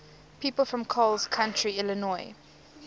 people from coles county illinois